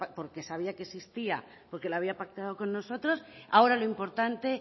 porque sabía que existía porque lo había pactado con nosotros ahora lo importante